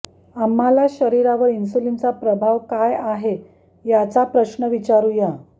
आम्हाला शरीरावर इन्सुलिनचा प्रभाव काय आहे याचा प्रश्न विचारू या